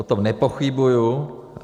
O tom nepochybuju.